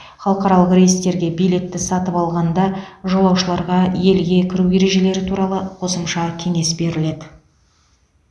халықаралық рейстерге билетті сатып алғанда жолаушыларға елге кіру ережелері туралы қосымша кеңес беріледі